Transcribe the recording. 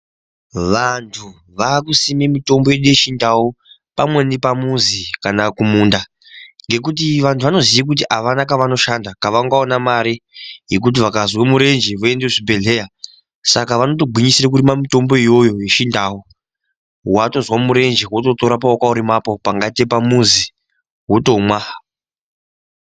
Vantu vaakusime mitombo yedu yechindau pamweni pamuzi kana kumunda ngekuti vantu vanoziye kuti avana kavanoshanda kavangaona mari yekuti vakazwe murenje voenda kuzvi bhehlera saka vanotogwinyisira kurime mitombo iyoyo yeChindau watozwa murenje wototora pawakaurima apo pangaite pamuzi wotomwa.